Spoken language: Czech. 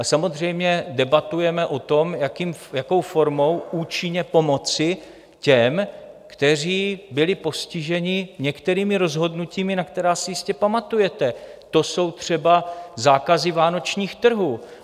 A samozřejmě debatujeme o tom, jakou formou účinně pomoci těm, kteří byli postiženi některými rozhodnutími, na která si jistě pamatujete, to jsou třeba zákazy vánočních trhů.